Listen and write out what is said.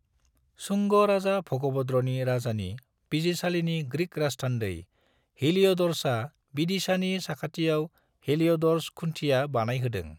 शुंग राजा भगभद्रनि राजानि बिजिरसालिनि ग्रिक राजथान्दै हेलियोडोरसआ विदिशानि साखाथियाव हेलियोडोरस खुन्थिया बानायहोदों।